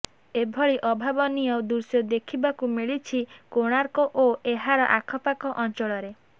ଏଭଳି ଅଭାବନୀୟ ଦୃଶ୍ୟ ଦେଖିବାକୁ ମିଳିଛି କୋଣାର୍କ ଓ ଏହାର ଆଖପାଖ ଅଞ୍ଚଳରେ